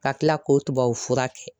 Ka tila k'o tubabufura kɛ